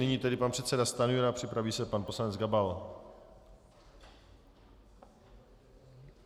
Nyní tedy pan předseda Stanjura, připraví se pan poslanec Gabal.